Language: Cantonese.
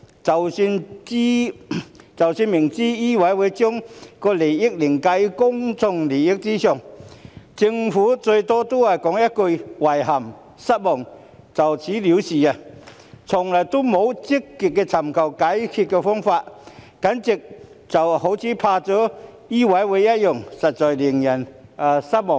即使明知醫委會將行業利益凌駕於公眾利益上，政府最多只是說一句"遺憾失望"便了事，從來沒有積極尋求解決的方法，簡直好像怕了醫委會一樣，實在令人失望。